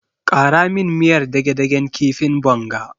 Ƙara min miyar dage-dagen kifin bonga.